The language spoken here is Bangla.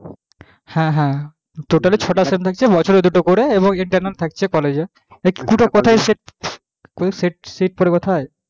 হ্যাঁ হ্যাঁ totally ছটা sem থাকছে বছরে দুটো করে এবং internal থাকছে college এ sit পরিবর্ত হয়